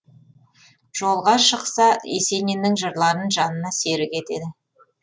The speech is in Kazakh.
жолға шықса есениннің жырларын жанына серік етеді